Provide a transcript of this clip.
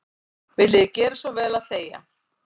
Viljiði gera svo vel að þegja.